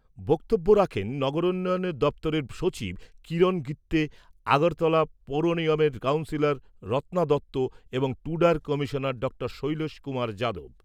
বক্তব্য রাখেন নগরোন্নয়ন দপ্তরের সচিব কিরণ গিত্যে, আগরতলা পুর নিগমের কাউন্সিলর রত্না দত্ত এবং টুডার কমিশনার ড শৈলেশ কুমার যাদব।